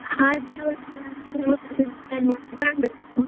ಹಾಗೆ ಇವರ್ಸ plan ಮಾಡಿದ್ ಕಾಣ್ಬೇಕು.